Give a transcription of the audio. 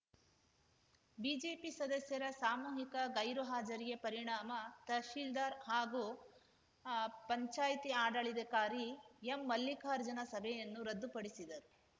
BJP ಸದಸ್ಯರ ಸಾಮೂಹಿಕ ಗೈರು ಹಾಜರಿಯ ಪರಿಣಾಮ ತಹಶೀಲ್ದಾರ್‌ ಹಾಗೂ ಪಂಚಾಯ್ತಿ ಆಡಳಿಧಕಾರಿ ಎಂಮಲ್ಲಿಕಾರ್ಜುನ ಸಭೆಯನ್ನು ರದ್ದುಪಡಿಸಿದರು